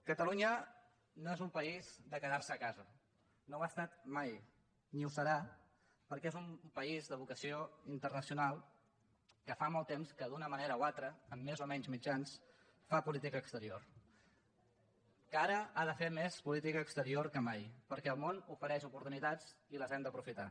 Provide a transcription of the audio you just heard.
catalunya no és un país de quedar se a casa no ho ha estat mai ni ho serà perquè és un país de vocació internacional que fa molt temps que d’una manera o altra amb més o menys mitjans fa política exterior que ara ha de fer més política exterior que mai perquè el món ofereix oportunitats i les hem d’aprofitar